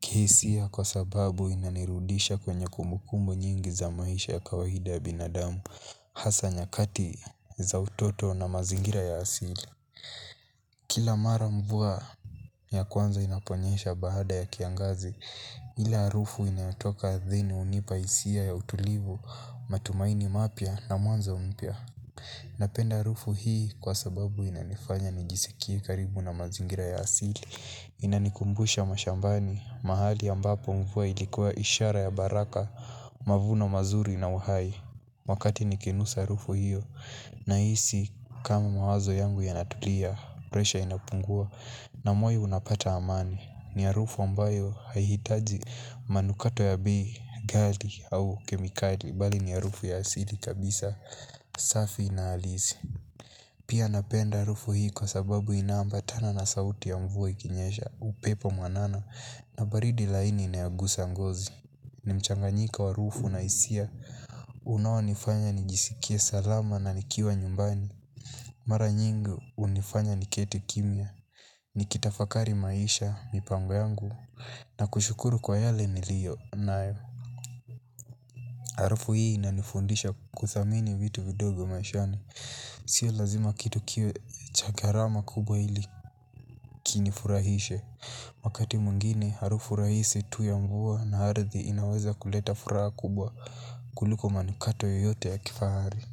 Kihisia kwa sababu inanirudisha kwenye kumbukumbu nyingi za maisha ya kawaida ya binadamu. Hasa nyakati za utoto na mazingira ya asili. Kila mara, mvua ya kwanza inaponyesha baada ya kiangazi. Ile arufu inayotoka ardhini unipa isia ya utulivu, matumaini mapya na mwanzo mpya. Napenda arufu hii, kwa sababu inanifanya nijisikie karibu na mazingira ya asili. Inanikumbusha mashambani, mahali ambapo mvua ilikuwa ishara ya baraka, mavuno mazuri na uhai. Wakati nikinusa arufu hiyo, na hisi kama mawazo yangu yanatulia, presha inapungua. Na moyo unapata amani. Ni arufu ambayo, haihitaji manukato ya bii, gali au kemikali bali ni arufu ya asili kabisa. Safi na halisi. Pia napenda arufu hii kwa sababu inambatana na sauti ya mvua ikinyesha. Upepo mwanana na baridi laini inayogusa ngozi. Nimchanganyiko haraufu na hisia. Unao nifanya nijisikie salama na nikiwa nyumbani. Mara nyingi, unifanya niketi kimya. Nikitafakari maisha, mipango yangu, na kushukuru kwa yale niliyo nae. Harufu hii inanifundisha kuthamini vitu vidogo maishani. Si lazima kitu kiwe cha gharama kubwa, ili kinifurahishe. Wakati mwingine, harufu rahisi tu ya nguo na arthi inaweza kuleta furaha kubwa. Kuliko manukato yeyote ya kifahari.